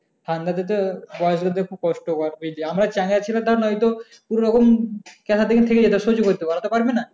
ঠান্ডাযেতে বয়স্কদের কষ্ট হয় বেশি। আমরা চ্যাংড়া ছেলে ধর নয়তো কোন রকম সহ্য করতে পারবো, ওরা তো পারবে না।